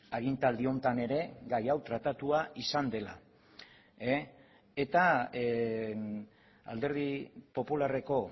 agintaldi honetan ere gai hau tratatua izan dela eta alderdi popularreko